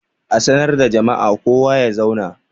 A sanar da jama'a kowa ya zauna!